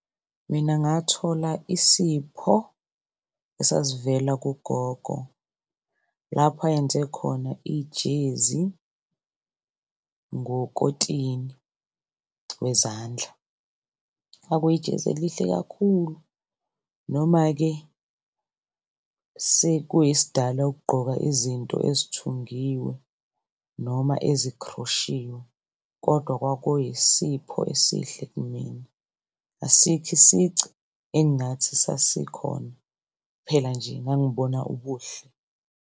Mina ngathola isipho esasivela kugogo lapho ayenze khona ijezi ngokotini wezandla. Kwakuyijezi elihle kakhulu, noma-ke sekuyisidala ukugqoka izinto ezithungiwe noma ezikhroshiwe kodwa kwakuyisipho esihle kumina. Asikho isici engingathi sasikhona, kuphela nje ngangibona ubuhle.